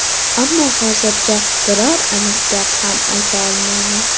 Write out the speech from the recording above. Ammo hozircha biror aniq gap ham ayta olmayman.